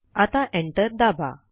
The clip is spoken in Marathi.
आता एंटर दाबा